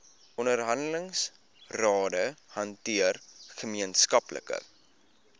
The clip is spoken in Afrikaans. onderhandelingsrade hanteer gemeenskaplike